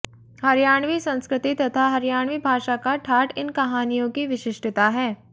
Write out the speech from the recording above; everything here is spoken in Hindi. हरियाणवी संस्कृति तथा हरियाणवी भाषा का ठाठ इन कहानियों की विशिष्टता है